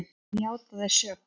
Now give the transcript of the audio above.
Árásarmaðurinn játaði sök